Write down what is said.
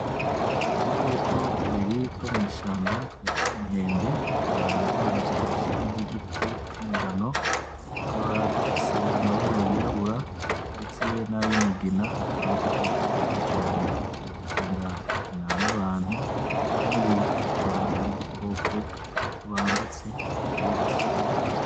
Udukoko tubiri two mwishamba twitwa inkende tukaba duhagaze kwishami ryigiti c'umugano tukaba dufise amabara y'irabura ndetse nayu mugina akaba ari udukoko twiza cane dukunda gukinana n'abantu kandi akaba ari udukoko tubangutse, dukerebutse